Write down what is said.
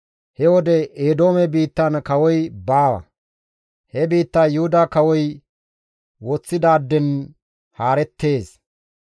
He wode Eedoome biittan kawoy baawa; he biittay Yuhuda kawoy woththidaaden haarettees.